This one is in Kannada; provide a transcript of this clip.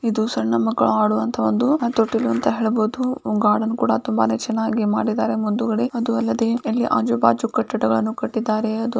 ಇದು ಸಣ್ಣ ಮಕ್ಕಳು ಆಡುವಂತಹ ಒಂದು ತೊಟ್ಟಿಲು ಅಂತ ಹೇಳಬಹುದು ಗಾರ್ಡನ್ ಕೂಡ ತುಂಬಾನೆ ಚೆನ್ನಾಗಿ ಮಾಡಿದ್ದಾರೆ ಮುಂದುಗಡೆ ಅದು ಅಲ್ಲದೆ ಎಲ್ಲಿ ಆಜು ಬಾಜು ಕಟ್ಟಡಗಳನ್ನು ಕಟ್ಟಿದಾರೆ--